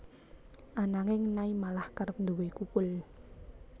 Ananging Nay malah kerep nduwé kukul